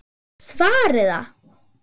Ég get svarið það!